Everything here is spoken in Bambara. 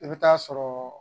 I bɛ taa sɔrɔ